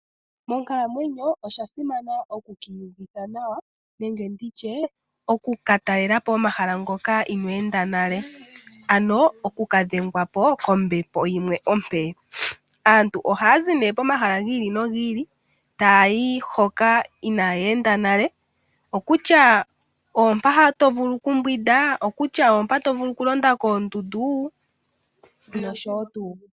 Monkalamwenyo oshasimana oku kiyuvitha nawa nenge nditye oku katalelapo omahala ngoka inwenda nale ano okukadhengwapo kombepo yimwe ope , aantu ohazi ne komahala ngili nongili tayi hoka inayenda nale okutya opa tovulu okumbwinda okutya opa tovulu okulanda koondundu noshowo tu.